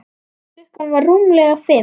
Klukkan var rúmlega fimm.